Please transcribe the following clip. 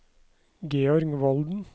Georg Volden